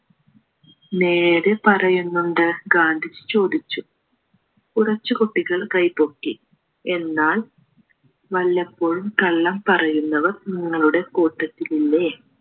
നേര് പറയുന്നുണ്ട് ഗാന്ധിജി ചോദിച്ചു കുറച്ചു കുട്ടികൾ കൈ പൊക്കി എന്നാൽ വല്ലപ്പോഴും കള്ളം പറയുന്നവർ നിങ്ങളുടെ കൂട്ടത്തിലില്ലേ